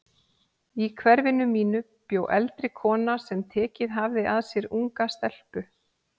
Í hverfinu mínu bjó eldri kona sem tekið hafði að sér unga stelpu.